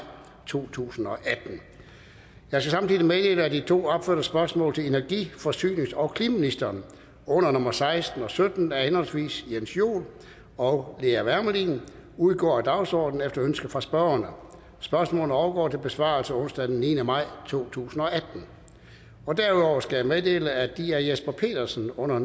to tusind og atten jeg skal samtidig meddele at de to opførte spørgsmål til energi forsynings og klimaministeren under nummer seksten og sytten af henholdsvis jens joel og lea wermelin udgår af dagsordenen efter ønske fra spørgerne spørgsmålene overgår til besvarelse onsdag den niende maj to tusind og atten derudover skal jeg meddele at de af jesper petersen under